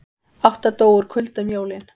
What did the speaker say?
Átta dóu úr kulda um jólin